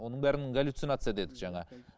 оның бәрін галюцинация дедік жаңа